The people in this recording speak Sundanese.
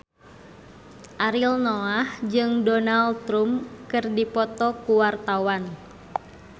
Ariel Noah jeung Donald Trump keur dipoto ku wartawan